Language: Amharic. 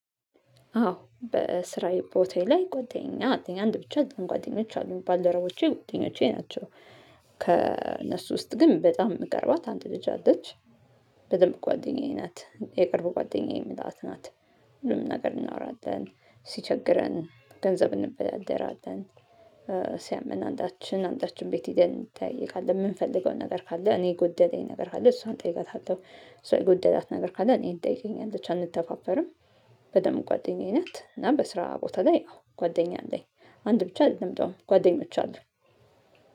አው በስራዬ ቦታዬ ላይ ጓደኛ ኣለኝ አንድ ብቻ ኣይደለም ጓደኞች አሉ ባል ደረቦቼ ጓደኞቼ ናቸው። ከእነሱ ውስጥ ግን በጣም የምቀርባት አንድ ልጅ አለች። በደንብ ጓደኛዬ ናት የቅርቡ ጓደኛዬ ምላት ናት። ሁሉም ነገር እናወራለን ሲቸግረን ገንዘብ እንበዳደራለን። ሲያመን አንዳችን አንዳችን ቤት ሄደን እንጠየቃቃለን የምንፈልገውን ነገር ካለ እኔ የጎደለኝ ነገር ካለ እሷን ጠይቀታለው እሷ የጎደላት ነገር ካለ እኔ ትጠይቀኛለች ብቻ ኣንተፋፈርም። በደንብ ጓደኛዬነት እና በስራ ቦታ ላይ አዎ ጓደኛ አለኝ። አንድ ብቻ አይደለም ጓደኞች አሉ።